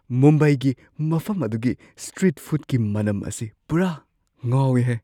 ꯃꯨꯝꯕꯥꯏꯒꯤ ꯃꯐꯝ ꯑꯗꯨꯒꯤ ꯁ꯭ꯇ꯭ꯔꯤꯠ ꯐꯨꯗꯀꯤ ꯃꯅꯝ ꯑꯁꯤ ꯄꯨꯔꯥ ꯉꯥꯎꯢ ꯍꯦ!